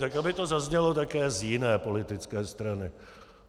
Tak aby to zaznělo také z jiné politické strany.